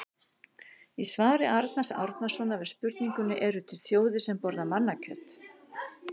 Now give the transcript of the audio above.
Í svari Arnars Árnasonar við spurningunni Eru til þjóðir sem borða mannakjöt?